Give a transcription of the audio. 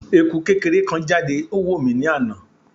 Eku kekere kan jade o wo mi ni ana